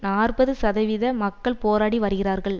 நாற்பது சதவீத மக்கள் போராடி வருகிறார்கள்